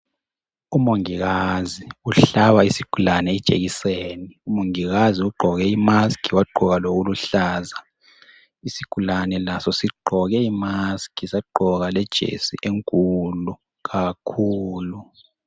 Umongikazi uhlaba isigulane ijekiseni. Umongikazi ugqoke imask wagqoka lokuluhlaza, isigulane also sigqoke imask sagqoka lejesi enkulu kakhulu.